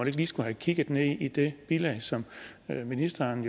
ikke lige skulle have kigget ned i det bilag som ministeren